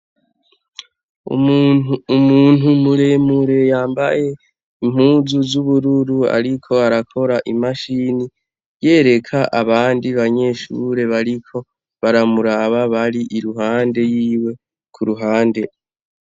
Umuntu muremure yambaye impuzu zubururu ariko arakora imashini yereka abandi banyeshure bariko baramuraba bari iruhande yiwe kuruhande.